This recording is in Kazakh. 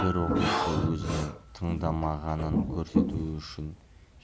бір оқушы өзінің тыңдамағанын көрсетуі үшін